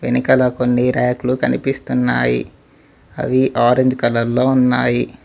వెనకాల కొన్ని ర్యాకులు కనిపిస్తున్నాయి అవి ఆరెంజ్ కలర్ లో ఉన్నాయి.